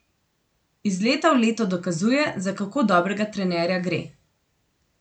Iz leta v leto dokazuje, za kako dobrega trenerja gre.